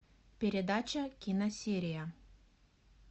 передача киносерия